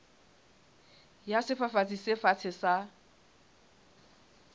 ya sefafatsi se fatshe sa